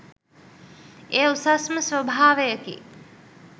එය උසස්ම ස්වභාවයකි.